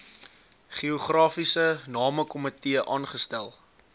geografiese namekomitee aangestel